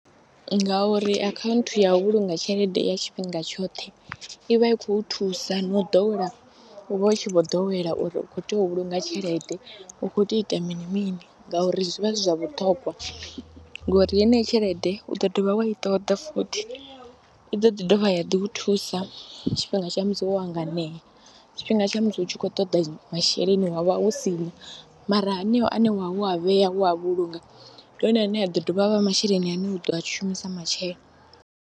Ngauri akhaunthu ya u vhulunga tshelede ya tshifhinga tshoṱhe i vha i khou thusa na u ḓowela u vha u tshi vho ḓowela uri u khou tea u vhulunga tshelede, u khou tea u ita mini mini ngauri zwi vha zwi zwa vhuṱhongwa ngori yeneyi tshelede u ḓo dovha wa i ṱoḓa futhi. I ḓo ḓi dovha ya ḓi u thusa tshifhinga tsha musi wo hanganea, tshifhinga tsha musi u tshi khou toḓa masheleni wa vha u si na mara haneyo ane wa vha wo a vhea, wo a vhulunga ndi one ane a ḓo dovha a vha masheleni ane u ḓo a shumisa matshelo